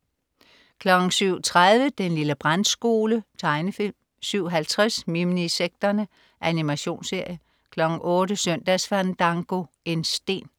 07.30 Den lille brandskole. Tegnefilm 07.50 Minisekterne. Animationsserie 08.00 Søndagsfandango. En sten